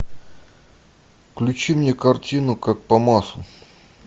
включи мне картину как по маслу